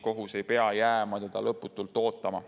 Kohus ei pea jääma teda lõputult ootama.